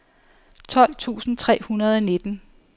tolv tusind tre hundrede og nitten